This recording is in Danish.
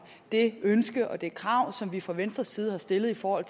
det ønske og det krav som vi fra venstres side har stillet for at